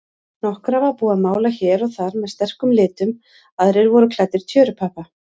Nokkra var búið að mála hér og þar með sterkum litum, aðrir voru klæddir tjörupappa.